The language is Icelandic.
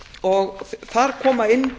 og þar koma inn